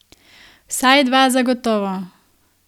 Vsaj dva zagotovo.